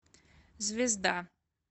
звезда